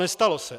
Nestalo se.